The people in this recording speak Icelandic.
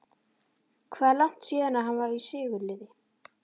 Hvað er langt síðan að hann var í sigurliði?